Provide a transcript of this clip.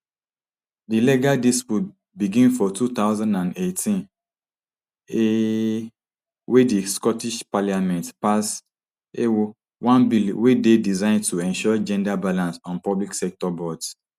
di legal dispute begin for two thousand and eighteen um wen di scottish parliament pass um one bill wey dey designed to ensure gender balance on public sector boards